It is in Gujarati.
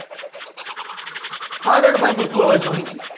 હા રેડ ભાઈ મુકું હવે શાંતિ